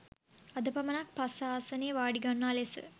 අද පමණක් පස්ස ආසනයේ වාඩි ගන්නා ලෙස